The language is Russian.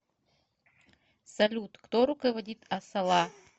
салют кто руководит асала